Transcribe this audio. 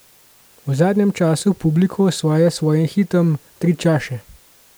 V zadnjem času publiko osvaja s svojim hitom Tri čaše.